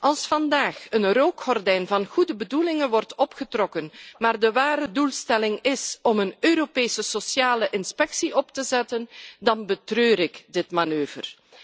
Als vandaag een rookgordijn van goede bedoelingen wordt opgetrokken, maar de ware doelstelling is een Europese sociale inspectie op te zetten, dan betreur ik deze manoeuvre.